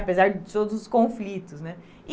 Apesar de todos os conflitos, né?